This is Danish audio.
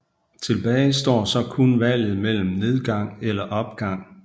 Tilbage står så kun valget mellem nedgang eller opgang